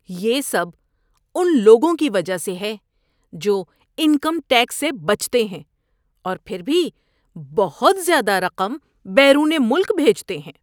یہ سب ان لوگوں کی وجہ سے ہے جو انکم ٹیکس سے بچتے ہیں اور پھر بھی بہت زیادہ رقم بیرون ملک بھیجتے ہیں۔